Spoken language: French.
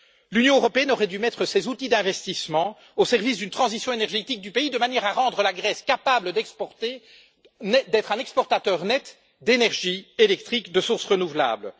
L'Union européenne aurait dû mettre ses outils d'investissement au service d'une transition énergétique du pays de manière à rendre la Grèce capable d'être un exportateur net d'énergie électrique de sources renouvelables.